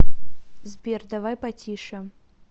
сбер давай потише